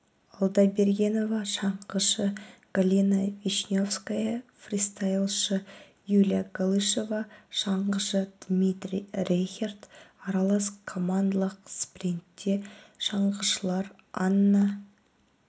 алдабергенова шаңғышы галина вишневская фристайлшы юлия галышева шаңғышы дмитрий рейхерд аралас командалық спринтте шаңғышылар анна